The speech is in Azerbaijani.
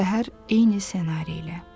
Səhər eyni ssenari ilə.